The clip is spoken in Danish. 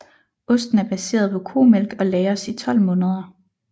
Osten er baseret på komælk og lagres i 12 måneder